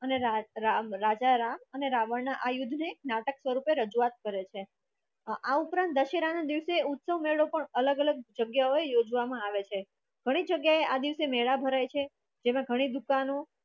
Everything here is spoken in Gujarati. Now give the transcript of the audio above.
અને રાજ રામ રાજા રામ અને આ રાવણ ના યુદ્ધ ને નાટક સ્વરૂપે રજૂઆત કરે છે. આ ઉપરાંત દશેરાના દિવસે ઉત્સવ મેળો પણ અલગ અલગ જગ્યાએ યોજવામાં આવે છે ઘણી જગ્યાએ આ દિવસે મેળો ભરાઈ છે તેમાં ઘણી દુકાનો